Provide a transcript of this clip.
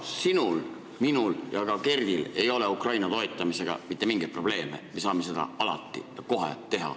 Sinul, minul ja ka Kerdil ei ole Ukraina toetamisega mitte mingeid probleeme, me saame seda alati ja kohe teha.